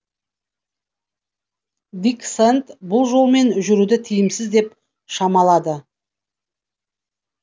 дик сэнд бұл жолмен жүруді тиімсіз деп шамалады